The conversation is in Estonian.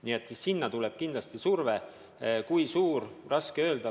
Nii et sealt tuleb kindlasti surve – kui suur, on raske öelda.